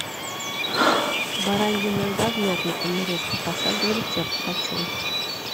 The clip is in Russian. баранья нога в мятной панировке пошаговый рецепт хочу